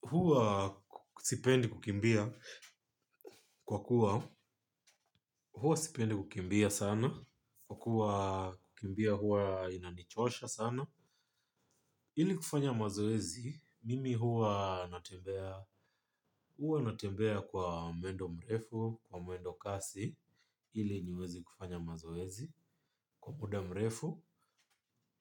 Huwa sipendi kukimbia kwa kuwa huwa sipendi kukimbia sana. Kwa kuwa kukimbia huwa inanichosha sana ili kufanya mazoezi mimi huwa natembea. Huwa natembea kwa mwendo mrefu au mwendo kasi ili niweze kufanya mazoezi. Kwa muda mrefu